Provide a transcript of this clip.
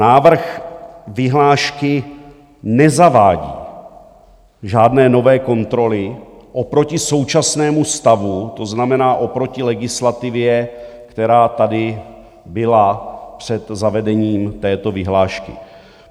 Návrh vyhlášky nezavádí žádné nové kontroly oproti současnému stavu, to znamená oproti legislativě, která tady byla před zavedením této vyhlášky.